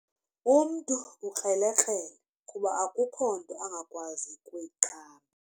Umntu ukrelekrele kuba akukho nto angakwazi kuyiqamba.